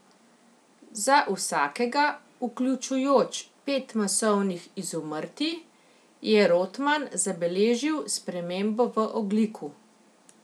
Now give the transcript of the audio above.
Za vsakega, vključujoč pet masovnih izumrtij, je Rotman zabeležil spremembo v ogljiku.